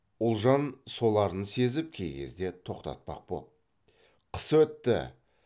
ұлжан соларын сезіп кей кезде тоқтатпақ боп қыс өтті